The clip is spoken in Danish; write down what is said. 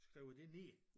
Skriver det ned